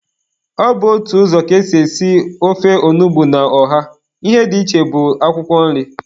Ọ bụ otu ụzọ ka ésì èsí ofe onugbu na ọha, ihe dị iche bụ akwụkwọ nri.